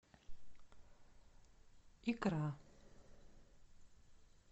икра